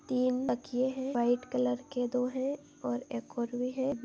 M तकिये है white colour के दो है और एक और भी है।